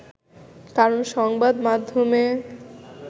কারণ সংবাদ মাধ্যমে